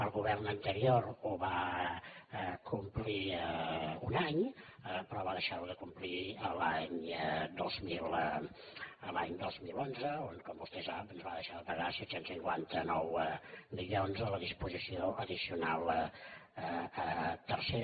el govern anterior ho va complir un any però va deixar ho de complir l’any dos mil onze quan com vostè sap ens va deixar de pagar set cents i cinquanta nou milions de la disposició addicional tercera